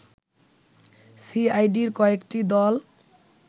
সিআইডির কয়েকটি দল